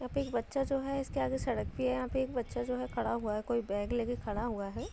यहाँ पे एक बच्चा जो है इसके आगे एक सड़क भी है। यहाँ पे एक बच्चा जो है खड़ा हुआ है। कोई बैग लेके खड़ा हुआ है।